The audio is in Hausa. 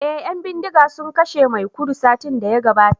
eh yan bindiga sun kashe maikudu satin daya gabata